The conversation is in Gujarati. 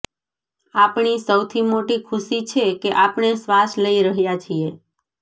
આપણી સૌથી મોટી ખુશી છે કે આપણે શ્વાસ લઇ રહ્યાં છીએ